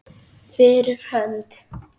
Fyrir hönd.